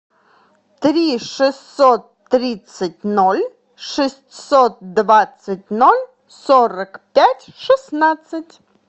три шестьсот тридцать ноль шестьсот двадцать ноль сорок пять шестнадцать